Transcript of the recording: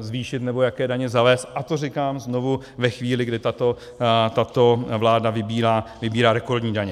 zvýšit nebo jaké daně zavést, a to, říkám znovu, ve chvíli, kdy tato vláda vybírá rekordní daně.